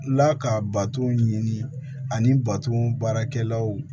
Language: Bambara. La ka bato ɲini ani bato baarakɛlaw